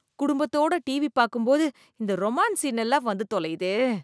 குடும்பத்தோட டிவி பாக்கும் போது இந்த ரொமான்ஸ் சீன் எல்லாம் வந்து தொலையுதே.